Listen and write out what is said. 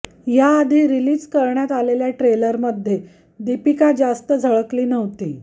याआधी रिलीज करण्यात आलेल्या ट्रेलरमध्ये दीपिकाला जास्त झळकली नव्हती